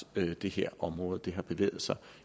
det her område har bevæget sig